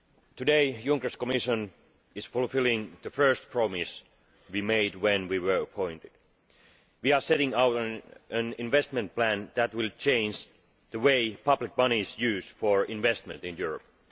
Today, Mr Juncker's Commission is fulfilling the first promise we made when we were appointed we are setting out an investment plan that will change the way public money is used for investment in Europe.